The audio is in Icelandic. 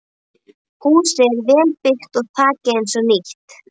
Húsið er vel byggt og þakið eins og nýtt.